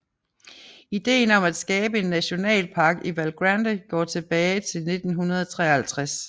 Idéen om at skabe en nationalpark i Val Grande går tilbage til 1953